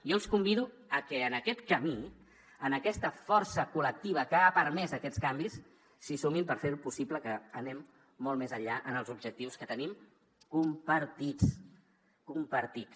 jo els convido a que en aquest camí en aquesta força col·lectiva que ha permès aquests canvis s’hi sumin per fer possible que anem molt més enllà en els objectius que tenim compartits compartits